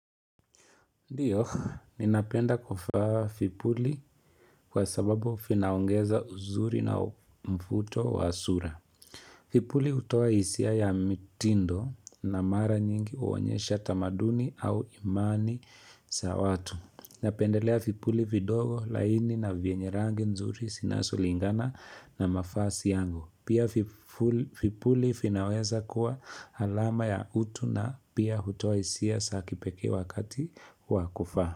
Ndiyo, ninapenda kufaa fipuli kwa sababu finaongeza uzuri na mfuto wa sura. Fipuli utoa isia ya mitindo na mara nyingi uonyesha tamaduni au imani sa watu. Napendelea fipuli vidogo laini na vienye rangi nzuri sinasulingana na mafasi yangu. Pia fipuli finaweza kuwa alama ya utu na pia hutoa isia saakipekee wakati wakufa.